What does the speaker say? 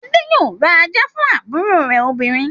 Adé yóò ra ajá fún àbúrò rẹ̀ obìnrin.